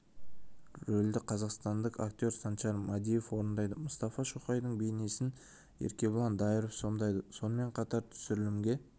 рөлді қазақстандық актер санжар мәдиев орындайды мұстафа шоқайдың бейнесін еркебұлан дайыров сомдайды сонымен қатар түсірілімге